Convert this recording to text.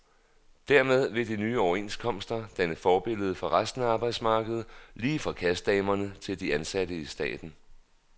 Dermed vil de nye overenskomster danne forbillede for resten af arbejdsmarkedet, lige fra kassedamerne til de ansatte i staten.